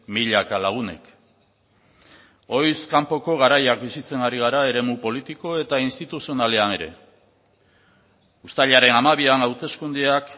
milaka lagunek ohiz kanpoko garaiak bizitzen ari gara eremu politiko eta instituzionalean ere uztailaren hamabian hauteskundeak